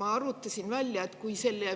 Ma arvutasin välja, et kui selle